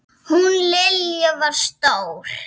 Hún Lilja var stór.